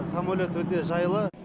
самолет өте жайлы